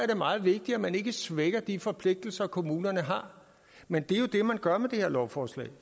meget vigtigt at man ikke svækker de forpligtelser kommunerne har men det er jo det man gør med det her lovforslag